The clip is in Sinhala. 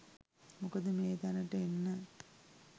මොකද මේ තැනට එන්න